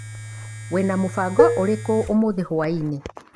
Wĩna mũbango ũrĩkũ ũmũthĩ hwainĩ?